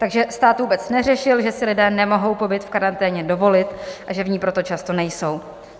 Takže stát vůbec neřešil, že si lidé nemohou covid v karanténě dovolit, a že v ní proto často nejsou.